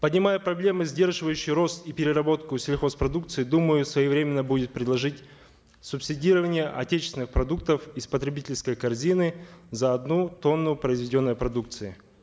поднимая проблемы сдерживающие рост и переработку сельхозпродукции думаю своевременно будет предложить субсидирование отечественных продуктов из потребительской корзины за одну тонну произведенной подукции